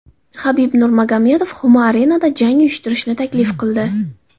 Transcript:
Habib Nurmagomedov Humo Arena’da jang uyushtirishni taklif qildi.